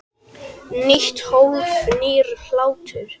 Nýtt hólf- nýr hlátur